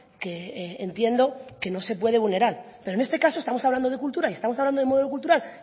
que entiendo que no se puede vulnerar pero en este caso estamos hablando de cultura y estamos hablando de modelo cultural